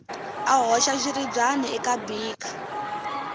a hoxa xiribyana eka beaker